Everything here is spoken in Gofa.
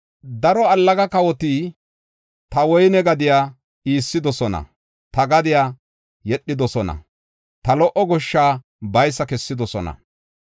“Daro allaga kawoti ta woyne gadiya iissidosona; ta gadiya yedhidosona; ta lo77o goshsha baysa kessidosona.